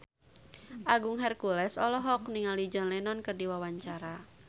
Agung Hercules olohok ningali John Lennon keur diwawancara